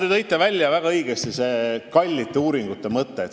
Te tõite väga õigesti välja selle kallite uuringute mõtte.